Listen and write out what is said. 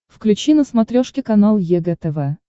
включи на смотрешке канал егэ тв